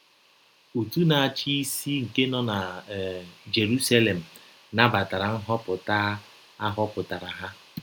Ọtụ na - achị isi nke nọ na um Jerụselem nabatara nhọpụta a họpụtara ha.